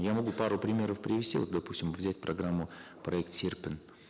я могу пару примеров привести вот допустим взять программу проект серпін